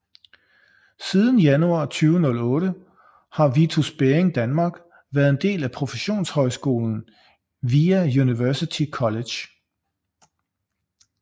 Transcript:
Siden januar 2008 har Vitus Bering Danmark været en del af professionshøjskolen VIA University College